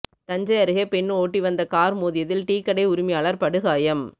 தஞ்சை அருகே பெண் ஓட்டி வந்த கார் மோதியதில் டீ கடை உரிமையாளர் படுகாயம்